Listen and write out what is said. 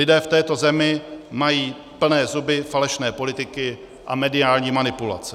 Lidé v této zemi mají plné zuby falešné politiky a mediální manipulace.